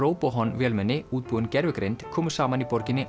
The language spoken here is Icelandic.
RoBoHon vélmenni útbúin gervigreind komu saman í borginni